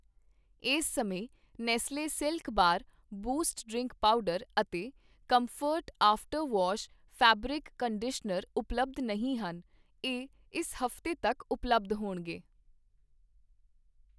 ਇਸ ਸਮੇਂ Nestle silk bar, Boost drink powder ਅਤੇ Comfort after wash fabric conditioner ਉਪਲੱਬਧ ਨਹੀਂ ਹਨ, ਇਹ ਇਸ ਹਫ਼ਤੇ ਤੱਕ ਉਪਲੱਬਧ ਹੋਣਗੇ